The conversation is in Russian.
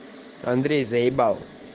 андрей заебал